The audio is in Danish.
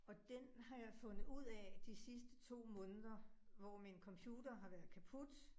Og den har jeg fundet ud af de sidste 2 måneder, hvor min computer har været kaput